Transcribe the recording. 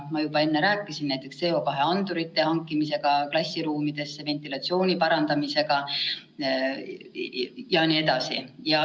Ma juba enne rääkisin: CO2 andurite hankimine klassiruumidesse, ventilatsiooni parandamine jne.